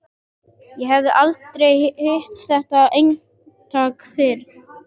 Ég hef aldrei hitt þetta eintak fyrr.